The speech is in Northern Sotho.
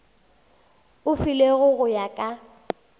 e filwego go ya ka